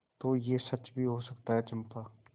तो यह सच भी हो सकता है चंपा